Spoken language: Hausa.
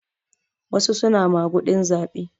Wasu suna maguɗin zaɓe.